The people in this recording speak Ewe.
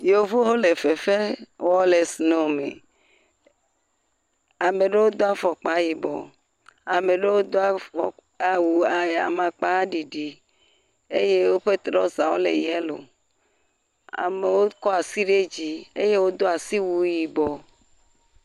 Yevuwo le fefe wɔm le snow me. Ame ɖe Do afɔkpa yibɔ. Ame ɖewo do awu a amakpaɖiɖiɖ eye woƒe trouserwo le yelo. Amewo kɔ ati ɖe dzi. Wodo siwuie yibɔ.